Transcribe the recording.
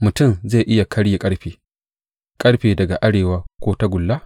Mutum zai iya karye ƙarfe ƙarfe daga arewa, ko tagulla?